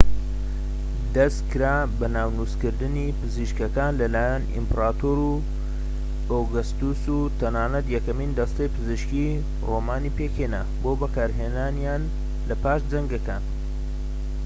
دەسکرا بە ناونوسکردنی پزیشکەکان لەلایەن ئیمپراتۆر ئۆگەستۆس و تەنانەت یەکەمین دەستەی پزیشکیی ڕۆمانی پێکهێنا بۆ بەکارهێنانیان لە پاش جەنگەکان